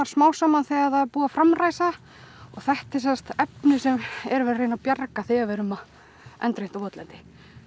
smám saman þegar er búið að framræsa það þetta er sem sagt efnið sem er verið að reyna að bjarga þegar við erum að endurheimta votlendi